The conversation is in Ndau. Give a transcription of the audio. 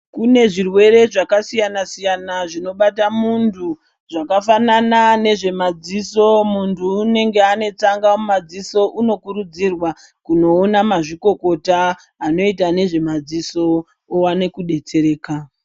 Kune zvirwere zvakasiyana siyana zvinobata muntu zvakafanana nemadziso, muntu unenge ane tsanga mumadziso unokurudzirwa kunoona mazvikokota anoita nezvemadziso owane kudetsereka.